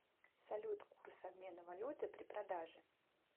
салют курс обмена валюты при продаже